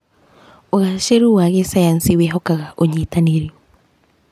ũgacĩru wa gĩcayanci wĩhokaga ũnyitanĩri.